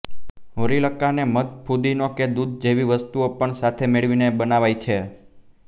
હોરીલ્કાને મધ ફુદીનો કે દૂધ જેવી વસ્તુઓ સાથે મેળવીને પણ બનાવાય છે